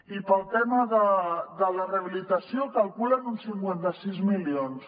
i per al tema de la rehabilitació calculen uns cinquanta sis milions